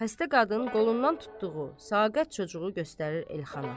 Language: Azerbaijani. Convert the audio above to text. Xəstə qadın qolundan tutduğu saqət çocuğu göstərir Elxana.